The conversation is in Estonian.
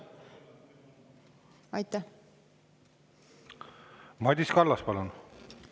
Madis Kallas, palun!